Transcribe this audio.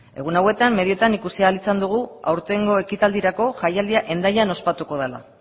egun hauetan medioetan ikusi ahal izan dugu aurtengo ekitaldirako jaialdia hendaian ospatuko dela